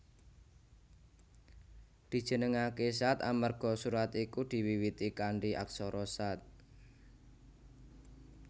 Dijenengaké Shaad amarga surat iki diwiwiti kanthi aksara Shaad